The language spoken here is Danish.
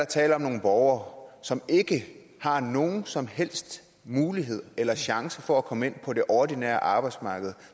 tale om nogle borgere som ikke har nogen som helst mulighed eller chance for at komme ind på det ordinære arbejdsmarked